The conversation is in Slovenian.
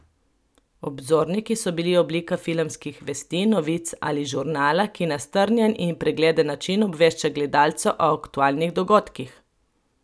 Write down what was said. Obzorniki so bili oblika filmskih vesti, novic ali žurnala, ki na strnjen in pregleden način obvešča gledalca o aktualnih dogodkih.